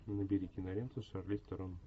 набери киноленту с шарлиз терон